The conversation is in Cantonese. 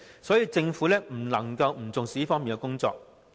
所以，政府不能夠不重視這方面的工作。